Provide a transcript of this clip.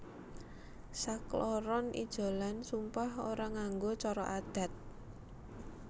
Sakloron ijolan sumpah ora nganggo cara adat